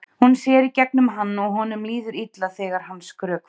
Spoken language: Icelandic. Hún sér í gegnum hann og honum líður illa þegar hann skrökvar.